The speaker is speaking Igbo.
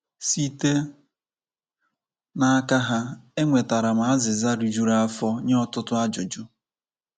Site n’aka ha, e nwetara m azịza rijuru afọ nye ọtụtụ ajụjụ.